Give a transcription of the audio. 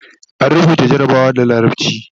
an rubuta jarabawan da larabci